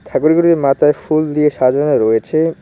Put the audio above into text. ঠাকুরগুলির মাথায় ফুল দিয়ে সাজানো রয়েছে।